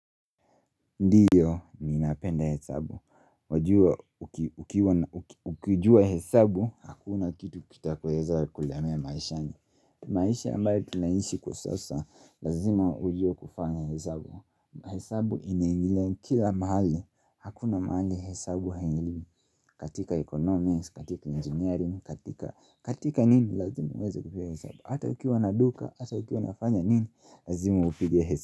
Ndiyo, ni napenda hesabu, wajua Ukijua hesabu, hakuna kitu kitakoweza kulemea maishani. Maishia ambaye tunaishi kwa sasa, lazima ujua kufanya hesabu. Hesabu inaingilia kila mahali, hakuna mahali hesabu haiingii. Katika economics, katika engineering, katika katika nini, lazima uweza kupewa hesabu. Hata ukiwa naduka, hata ukiwa nafanya nini, lazima upige hesabu.